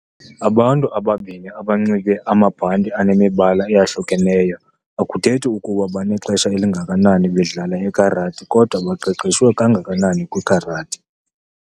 Abantu ababini abanxibe amabhanti anemibala eyahlukeneyo akuthethi kuba banexesha elingakanani bedlala ikarati kodwa baqeqeshwe kangakanani na kwikarati.